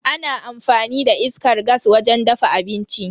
Ana amfani da iskar gas wajen dafa abinci.